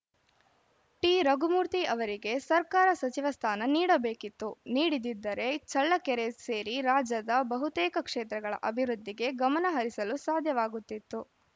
ಟಿರಘುಮೂರ್ತಿ ಅವರಿಗೆ ಸರ್ಕಾರ ಸಚಿವ ಸ್ಥಾನ ನೀಡಬೇಕಿತ್ತು ನೀಡಿದಿದ್ದರೆ ಚಳ್ಳಕೆರೆ ಸೇರಿ ರಾಜ್ಯದ ಬಹುತೇಕ ಕ್ಷೇತ್ರಗಳ ಅಭಿವೃದ್ಧಿಗೆ ಗಮನಹರಿಸಲು ಸಾಧ್ಯವಾಗುತ್ತಿತ್ತು